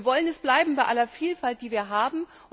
Wir wollen es bleiben bei aller Vielfalt, die wir haben.